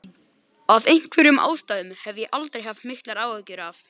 Af einhverjum ástæðum hef ég aldrei haft miklar áhyggjur af